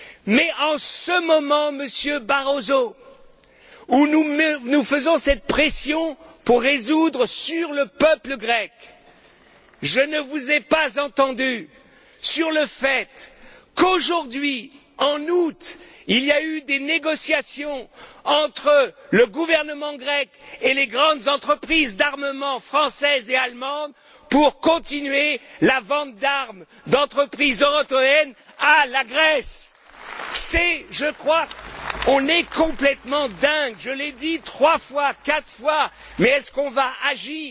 Mais en ce moment, Monsieur Barroso, où nous exerçons cette pression sur le peuple grec pour résoudre le problème, je ne vous ai pas entendu vous exprimer sur le fait qu'aujourd'hui, en août, il y a eu des négociations entre le gouvernement grec et les grandes entreprises d'armement françaises et allemandes pour continuer la vente d'armes d'entreprises européennes à la Grèce. On est complètement dingues, je l'ai dit trois fois, quatre fois, mais est ce qu'on va agir?